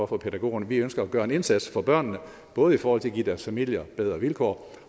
for pædagogerne vi ønsker at gøre en indsats for børnene både i forhold til at give deres familier bedre vilkår